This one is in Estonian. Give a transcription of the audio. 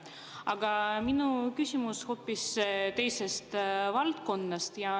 Aga minu küsimus on hoopis teisest valdkonnast.